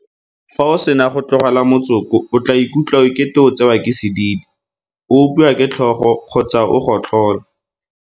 Fa o sena go tlogela motsoko o tla ikutlwa ekete o tsewa ke sedidi, o opiwa ke tlhogo kgotsa o gotlhola.